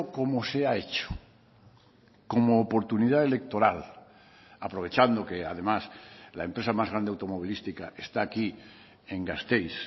como se ha hecho como oportunidad electoral aprovechando que además la empresa más grande automovilística está aquí en gasteiz